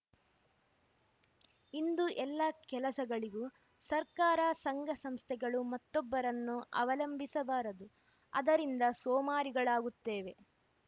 ಇಂದು ಎಲ್ಲ ಕೆಲಸಗಳಿಗೂ ಸರ್ಕಾರ ಸಂಘ ಸಂಸ್ಥೆಗಳು ಮತೊಬ್ಬರನ್ನು ಅವಲಂಭಿಸಬಾರದು ಅದರಿಂದ ಸೋಮಾರಿಗಳಾಗುತ್ತೇವೆ